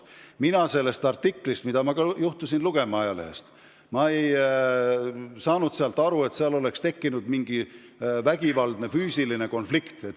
Mina sellest artiklist – ma juhtusin seda ka sellest ajalehest lugema – ei saanud aru, et seal tekkis vägivaldne füüsiline konflikt.